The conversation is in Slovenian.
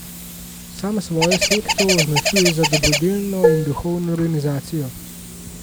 Sam svojo sekto označuje za dobrodelno in duhovno organizacijo.